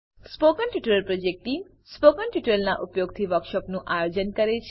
spoken tutorial project team spoken ટ્યુટોરીયલોનાં ઉપયોગથી વર્કશોપોનું આયોજન કરે છે